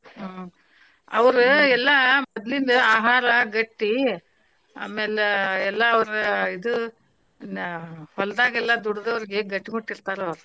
ಹ್ಮ್. ಅವ್ರ ಎಲ್ಲಾ ಮೊದಲಿಂದ ಆಹಾರಾ ಗಟ್ಟಿ ಆಮ್ಯಾಲ್ ಎಲ್ಲಾ ಅವರ ಇದು ಹೊಲದಾಗ್ ಎಲ್ಲಾ ದುಡದವ್ರಿಗಿ ಗಟ್ಟಿ ಮುಟ್ಟ ಇರ್ತಾರ ಅವ್ರ.